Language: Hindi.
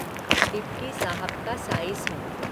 डिप्टी साहब का साईस हूँ।